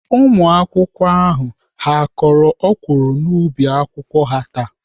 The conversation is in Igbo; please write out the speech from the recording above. Ụmụakwụkwọ ndị ahụ ha kọrọ ọkwụrụ n'ubi akwụkwọ ha taa?